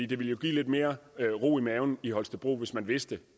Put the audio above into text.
det ville jo give lidt mere ro i maven i holstebro hvis man vidste